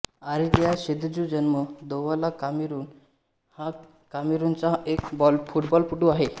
Aurelien Chedjou जन्म Douala Cameroon हा कामेरूनचा एक फुटबॉलपटू आहे